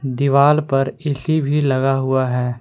दीवाल पर ए_सी भी लगा हुआ है।